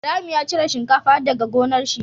Ibrahim ya cire shinkafa daka gonar shi